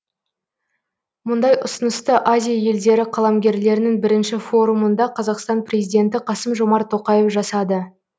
мұндай ұсынысты азия елдері қаламгерлерінің бірінші форумында қазақстан президенті қасым жомарт тоқаев жасады